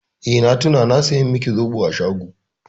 Eh, na tuna na saya miki zoɓo a shago.